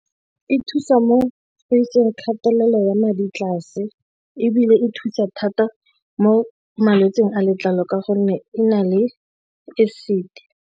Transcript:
E thusa mo go iseng kgatelelo ya madi tlase, ebile e thusa thata mo malwetsing a letlalo ka gonne e na le acid.